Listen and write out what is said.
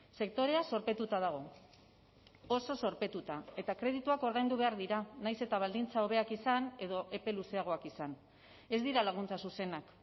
sektorea zorpetuta dago oso zorpetuta eta kredituak ordaindu behar dira nahiz eta baldintza hobeak izan edo epe luzeagoak izan ez dira laguntza zuzenak